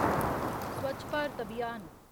स्वच्छ भारत अभियान